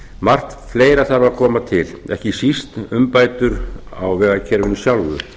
margt fleira þarf að koma til ekki síst umbætur á vegakerfinu sjálfu